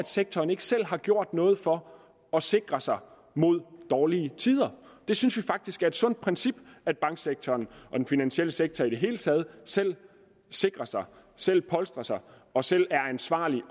sektoren ikke selv har gjort noget for at sikre sig mod dårlige tider vi synes vi faktisk det er et sundt princip at banksektoren og den finansielle sektor i det hele taget selv sikrer sig selv polstrer sig og selv er ansvarlig